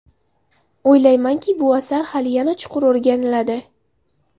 O‘ylaymanki, bu asar hali yana chuqur o‘rganiladi.